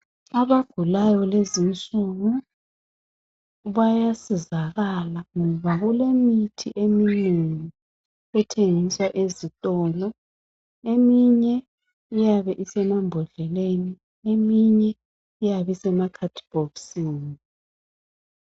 Abagulayo lezinsuku bayasizakala ngoba kulemithi eminengi ethengiswa ezitolo. Eminye iyabe isemambodleleni eminye iyabe isemakhadibhokisini.